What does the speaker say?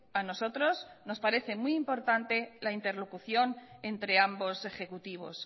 a nosotros nos parece muy importante la interlocución entre ambos ejecutivos